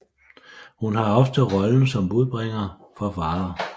Hun har ofte rollen som budbringer for Father